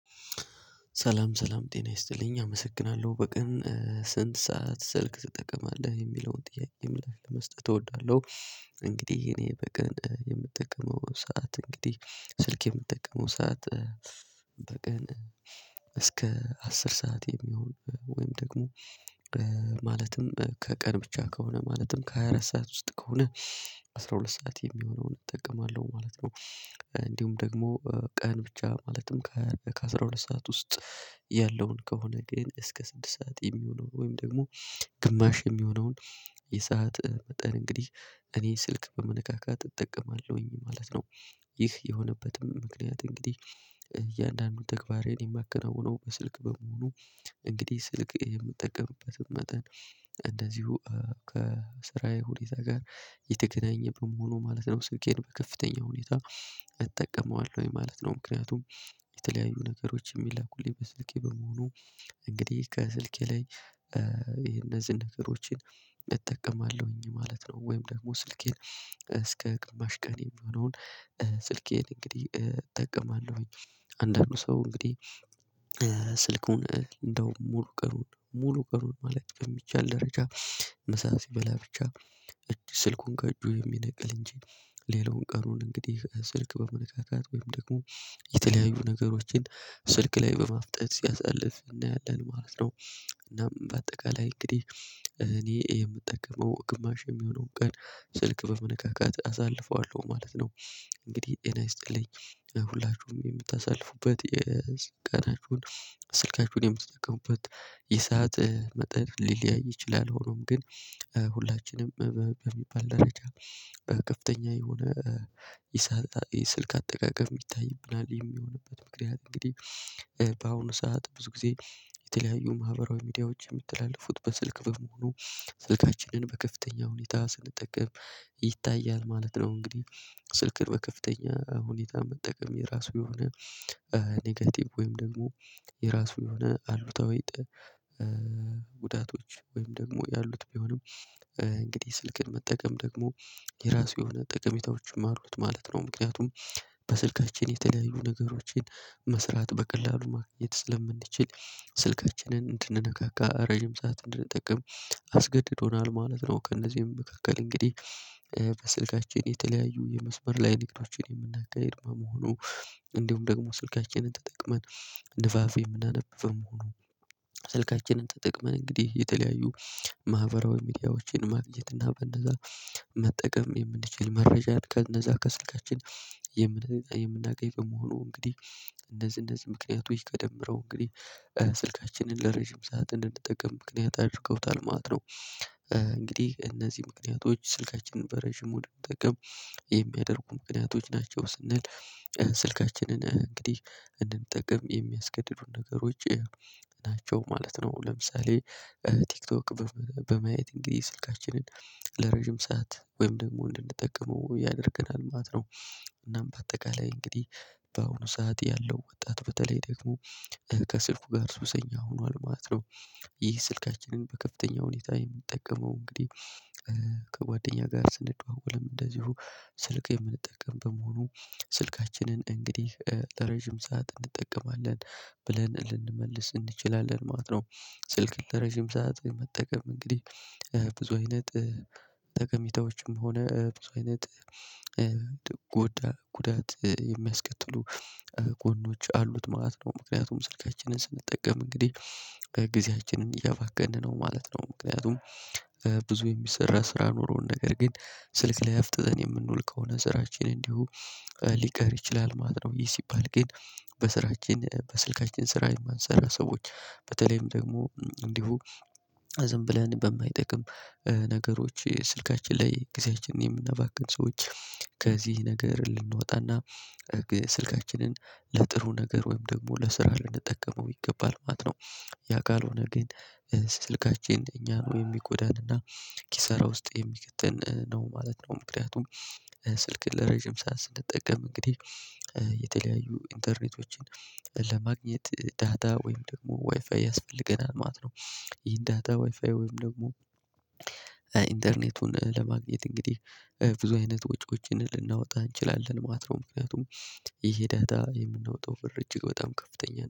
ሰላም ሰላም ጤና ይስጥልኝ አመሰግናለሁ በቀን ስንት ሰዓት ስልክ ትጠቀማለህ የሚለውን ጥያቄ ምላሽ ለመስጠት እወዳለሁ። እንግዲህ የኔ በቀን የምጠቀመው ሰዓት እንግዲህ ስልክ የምጠቀመው ሰዓት በቀን እስከ አስር ሰዓት የሚሆን ወይም ደግሞ ማለትም ከቀን ብቻ ከሆነ ማለትም ከሃያ አራት ሰዓት ውስጥ ከሆነ አስራ ሁለት ሰዓት የሚሆነውን እጠቀማለሁ ማለት ነው። እንዲሁም ደግሞ ቀን ብቻ ማለትም ከአስራ ሁለት ሰዓት ውስጥ ያለውን ከሆነ ግን እስከ ስድስት ሰዓት የሚሆነውን ወይም ደግሞ ግማሽ የሚሆነውን የሰዓት መጠን እንግዲህ እኔ ስልክ በመነካካት እጠቀማለሁኝ ማለት ነው። ይህ የሆነበትም ምክንያት እንግዲህ እያንዳንዱን ተግባሬን የማከናውነው በስልክ በመሆኑ እንግዲህ ስልክ የምጠቀምበትም መጠን እንደዚሁ ከስራዬ ሁኔታ ጋር የተገናኘ በመሆኑ ማለት ነው ስልኬን በከፍተኛ ሁኔታ እጠቀመዋለሁ ማለት ነው። ምክንያቱም የተለያዩ ነገሮች የሚላኩልኝ በስልኬ በኪል ነው። እንግዲህ ከስልኬ ላይ የነዚህን ነገሮችን እጠቀማለሁኝ ማለት ነው። ወይም ደግሞ ስልኬን እስከ ግማሽ ቀን የሚሆነውን ስልኬን እንግዲህ እጠቀማለሁኝ። አንዳንዱ ሰው እንግዲህ ስልኩን እንደውም ሙሉ ቀኑን ሙሉ ቀኑን ማለት በሚቻል ደረጃ ምሳ ሲበላ ብቻ ስልኩን ከእጁ የሚነቅል እንጂ ሌላውን ቀኑን እንግዲህ ስልክ በመነካካት ወይም ደግሞ የተለያዩ ነገሮችን ስልክ ላይ በማፍጠጥ ሲያሳልፍ እናያለን ማለት ነው። እናም በአጠቃላይ እንግዲህ እኔ የምጠቅመው ግማሽ የሚሆነውን ቀን ስልክ በመነካካት አሳልፈዋለሁ ማለት ነው። እንግዲህ ጤና ይስጥልኝ ሁላችሁም የምታሳልፉበት የቀናችሁን ስልካችሁን የምትጠቀሙበት የሰዓት መጠን ሊለያይ ይችላል። ሆኖም ግን ሁላችንም በሚባል ደረጃ በከፍተኛ የሆነ ይስልክ አጠቃቀም ይታይብናል የሚሆንበት ምክንያት እንግዲህ በአሁኑ ሰዓት ብዙ ጊዜ የተለያዩ ማህበራዊ ሚዲያዎች የምትላልፉት በስልክ በመሆኑ ስልካችንን በከፍተኛ ሁኔታ ስንጠቀም ይታያል ማለት ነው። እንግዲህ ስልክን በከፍተኛ ሁኔታ መጠቀም የራሱ የሆነ ኔጌቲቭ ወይም ደግሞ የራሱ የሆነ አሉታዊ ጉዳቶች ወይም ደግሞ ያሉት ቢሆንም እንግዲህ ስልክን መጠቀም ደግሞ የራሱ የሆነ ጥቅሜታዎችም አሉት ማለት ነው። ምክንያቱም በስልካችን የተለያዩ ነገሮችን መስራት በቀላሉ ማገኘት ስለምንችል ስልካችንን እንድንነካካ ረጅም ሰዓት እንድንጠቀም አስገድዶናል ማለት ነው። ከእነዚህ መካከል እንግዲህ በስልካችን የተለያዩ የመስመር ላይ ንቅናቄዎችን የምናጋሂድ መሆኑ እንዲሁም ደግሞ ስልካችንን ተጠቅመን ንፋፍ የምናነብበው መሆኑ ስልካችንን ተጠቅመን እንግዲህ የተለያዩ ማህበራዊ ሚዲያዎችን ማግኘት እና በነዛ መጠቀም የምንችል መረጃን ከነዛ ከስልካችን የምናገኝ ከመሆኑ እንግዲህ እንደዚህ እንደዚህ ምክኒያቶች ተደምረው እንግዲህ ስልካችንን ለረጅም ሰዓት እንድንጠቀም ምክንያት አድርገውታል ማለት ነው። እንግዲህ እነዚህ ምክንያቶች ስልካችንን በረዥሙ ደግሞ የሚያደርጉ ምክንያቶች ናቸው ስንል ስልካችንን እንግዲህ እንድንጠቀም የሚያስገድዱን ነገሮች ናቸው ማለት ነው። ለምሳሌ ቲክቶክ በማየት እንግዲህ ስልካችንን ለረጅም ሰዓት ወይም ደግሞ እንድንጠቀመው ያደርገናል ማለት ነው። እናም በአጠቃላይ እንግዲህ በአሁኑ ሰዓት ያለው ወጣት በተለይ ደግሞ ከስልኩ ጋር ሱሰኛ ሆኗል ማለት ነው። ይህ ስልካችንን በከፍተኛ ሁኔታ የምጠቀመው እንግዲህ ከጓደኛ ጋር ስንደዋወል እንደዚሁም ስልክ የምንጠቀም በመሆኑ ስልካችንን እንግዲህ ለረዥም ሰዓት እንጠቀማለን ብለን ልንመልስ እንችላለን ማለት ነው። ስልክን ለረዥም ሰዓት መጠቀም እንግዲህ ብዙ አይነት ጠቀሜታዎችም ሆነ ብዙ አይነት ጎዳ ጉዳት የሚያስከትሉ ጎኖች አሉት ማለት ነው። ምክንያቱም ስልካችንን ስንጠቀም እንግዲህ ከጊዜያችንም እያባከንን ነው ማለት ነው። ምክንያቱም ብዙ የሚሰራ ስራ ኖሮን ነገር ግን ስልክ ላይ አፍጥጠን የምንውል ከሆነ ስራችን እንዲሁ ሊቀር ይችላል ማለት ነው። ይህ ሲባል ግን በስራችን በስልካችን ስራ የማንሰራ ሰዎች በተለይም ደግሞ እንዲሁ ዝም ብለን በማይጠቅም ነገሮች ስልካችን ላይ ጊዜያችንን የምናባክን ሰዎች ከዚህ ነገር ልንወጣና ስልካችንን ለጥሩ ነገር ወይም ደግሞ ለስራ ልንጠቀመው ይገባል ማለት ነው። ያ ካልሆነ ግን ስልካችን እኛ ነው የሚጎዳንና ኪሰራ ውስጥ የሚከተን ነው ማለት ነው። ምክንያቱም ስልክ ለረጅም ሳዓት ስንጠቀም እንግዲህ የተለያዩ ኢንተርኔቶችን ለማግኘት ዳታ ወይም ደግሞ ዋይፋይ ያስፈልገናል ማለት ነው። ይህን ዳታ ዋይፋይ ወይም ደግሞ ኢንተርኔቱን ለማግኘት እንግዲህ ብዙ አይነት ወጪዎችን ልናወጣ እንችላለን ማለት ነው። ምክንያቱም ይሄ ለደታ የምናወጣው ብር እጅግ በጣም ከፍተኛ ነው